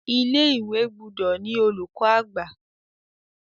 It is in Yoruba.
Ilé-ìwé gbúdọ̀ ni olùkọ̀-àgbà.